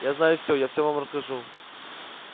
я знаю всё я всё вам расскажу